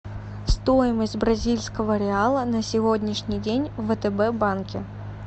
стоимость бразильского реала на сегодняшний день в втб банке